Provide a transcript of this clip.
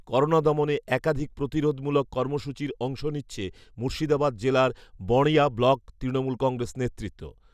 corona দমনে একাধিক প্রতিরোধ মূলক কর্মসূচির অংশ নিচ্ছে মুর্শিদাবাদ জেলার বড়ঞা ব্লক তৃণমূল কংগ্রেস নেতৃত্ব